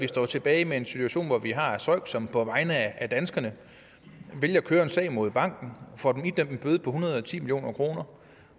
står tilbage med en situation hvor vi har søik som på vegne af danskerne vælger at køre en sag mod banken og får den idømt en bøde på en hundrede og ti million kroner